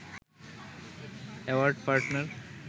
award partner